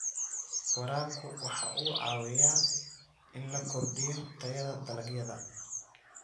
Waraabku waxa uu caawiyaa in la kordhiyo tayada dalagyada.